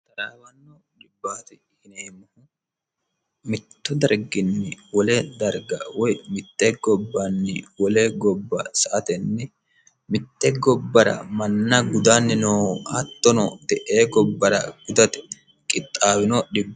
talaawanno dhibbaati hineemmohu mitto darginni wole darga woy mitte gobbanni wolee gobba sa atenni mitte gobbara manna gudanni nohu attono de ee gobbara gudate qixxaawino dhibbo